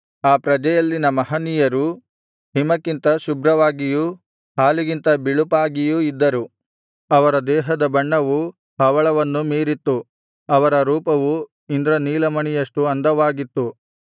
ಆ ಪ್ರಜೆಯಲ್ಲಿನ ಮಹನೀಯರು ಹಿಮಕ್ಕಿಂತ ಶುಭ್ರವಾಗಿಯೂ ಹಾಲಿಗಿಂತ ಬಿಳುಪಾಗಿಯೂ ಇದ್ದರು ಅವರ ದೇಹದ ಬಣ್ಣವು ಹವಳವನ್ನು ಮೀರಿತ್ತು ಅವರ ರೂಪವು ಇಂದ್ರನೀಲಮಣಿಯಷ್ಟು ಅಂದವಾಗಿತ್ತು